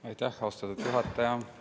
Aitäh, austatud juhataja!